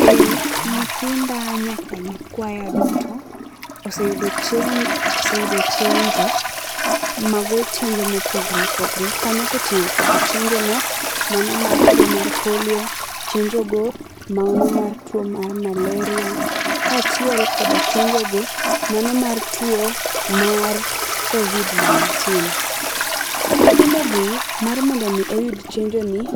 Eeeh, nyithinda nyaka nyikwaya duto oseyudo chenjo, oseyudo chenjo. Mago chenjo ma opogore opogore kanyo koting'o chenjo no mano mar tuo mar polio, chenjo no manomar tuo mar malaria kachiel kod chenjo mano mar tuo mar Covid 19. Nyithido gi mar mondo oyud chenjo ni,